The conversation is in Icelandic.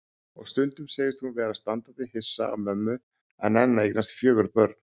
Og stundum segist hún vera standandi hissa á mömmu að nenna að eignast fjögur börn.